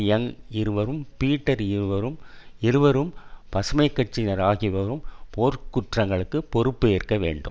young இருவரும் Peter இருவரும் இருவரும் பசுமை கட்சியினர் ஆகியோரும் போர்க்குற்றங்களுக்கு பொறுப்பு ஏற்க வேண்டும்